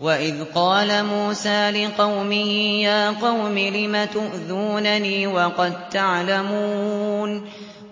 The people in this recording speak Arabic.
وَإِذْ قَالَ مُوسَىٰ لِقَوْمِهِ يَا قَوْمِ لِمَ تُؤْذُونَنِي